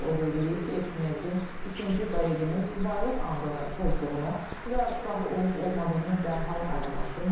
O qeyd eləyib ki, Eçmiədzin ikinci Qareginin subaylıq andını pozduğunu və uşağı olub-olmadığını dərhal aydınlaşdırmalıdır.